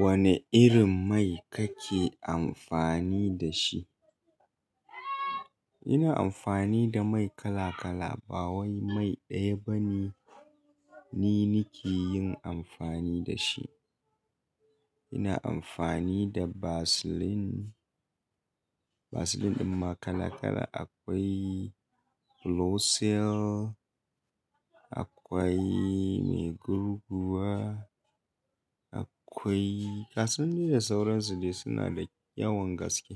Wane irin mai kake amfani da shi? Ina amfani da mai kala-kala, ba wai mai ɗaya bane, ni nike yin amfani da shi. Ina amfani da Vaseline. Vaseline ɗin ma kala-kala akwai blo cell, akwai mai gurguwa, akwai gasu nan dai sauran su dai suna da yawan gaske.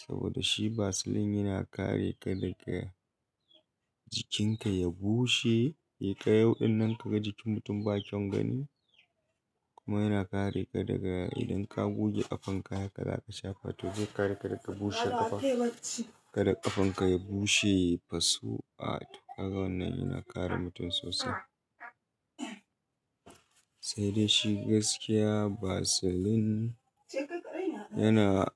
Saboda shi Vaseline yana kare ka daga jikinka ya bushe, ya kai yauɗin nan kaga jikin mutum ba kyan gani. Kuma yana kare ka daga idan ka goge ƙafanka haka za ka shafa to zai kare ka daga bushe ƙafa. Kada ƙafanka ya bushe, fasu'a to haka wannan yana kare mutum sosai. Sai dai shi gaskiya Vaseline yana,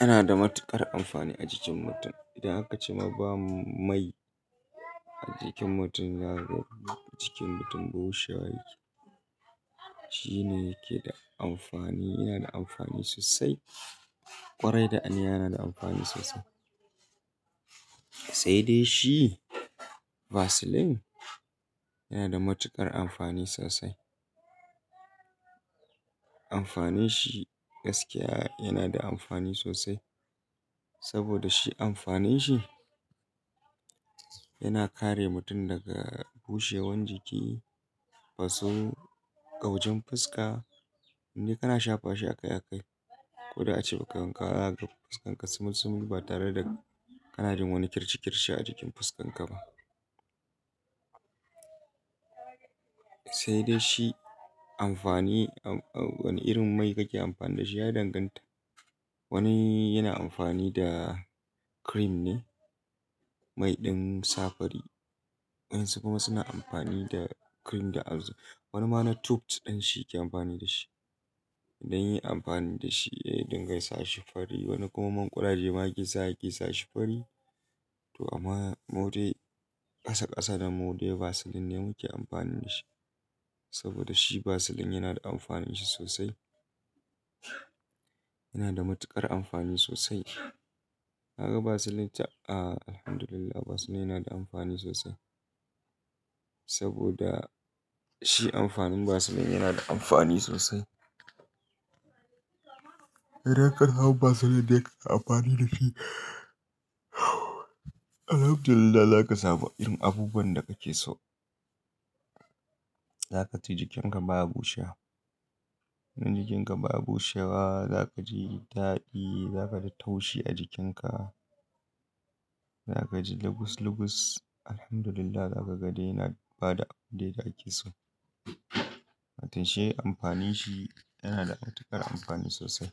yana da matuƙar amfani a jikin mutum. Idan aka ce ma ba mai a jikin mutum yana roɓe jikin mutum, bushe wa yake. Shi ne yake da amfani, yana da amfani sosai. Kwarai da aniya yana da amfani sosai. Sai dai shi Vaseline yana da matuƙar amfani sosai. Amfanin shi gaskiya yana da amfani sosai. Saboda shi amfanin shi yana kare mutum daga bushewan jiki, faso, ƙaujin fuska. Inde kana shafa shi a kai a kai. Koda ace ba kai wanka gba zaka ga fuskan ka sumul sumul ba tare da kana jin wani kirci kirci a jikin fuskan ka ba. Sai dai shi amfani, wane irin mai kake amfani da shi ya danganta. Wani yana amfani da cream ne, mai ɗin sa fari. Wayan su kuma suna amfani da cream da wani ma na tooth ɗin shi ke amfani da shi. Don yi amfani da shi, ya dinga sashi fari. Wani kuma manƙuraje ma yake sashi kul. To amma mu dai ƙasa ƙasa da mu dai Vaseline ne muke amfani da shi. Saboda shi Vaseline yana da amfanin shi sosai. Yana da matuƙar amfani sosai. Ka ga Vaseline ta a'a, Alhamdulillah Vaseline yana da amfani sosai. Saboda shi amfanin Vaseline yana da amfani sosai. Idan ka hau Vaseline da yake amfani da shi, Alhamdulillah za ka samu irin abubuwan da kake so. Za ka ji jikinka baya bushewa. Idan jikinka ba bushewa, za ka ji daɗi, za ka ji taushi a jikinka. Za ka ji lugus lugus. Alhamdulillah zaka ga dai yana ba da abin da yake so. Watan shi amfanin shi yana da matuƙar amfani sosai.